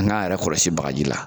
An k'an yɛrɛ kɔlɔsi bagaji la